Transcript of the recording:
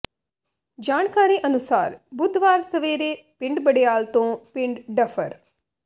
ਜਾਣਕਾਰੀ ਅਨੁਸਾਰ ਬੁੱਧਵਾਰ ਸਵੇਰੇ ਪਿੰਡ ਬਡਿਆਲ ਤੋਂ ਪਿੰਡ ਡੱਫਰ